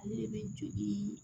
Ale de bɛ jogin